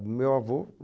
Meu avô